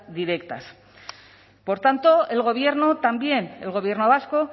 directas por tanto el gobierno también el gobierno vasco